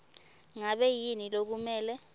ngabe yini lokumele